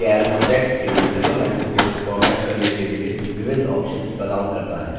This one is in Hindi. calc text के multiple lines को फॉर्मेट करने के लिए विविध options प्रदान करता है